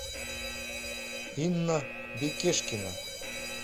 инна бекешкина